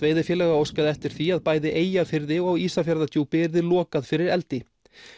veiðifélaga óskaði eftir því að bæði Eyjafirði og Ísafjarðardjúpi yrði lokað fyrir eldi